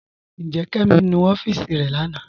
Njẹ́, Kẹmi nú ọfiísì rẹ̀ lánà?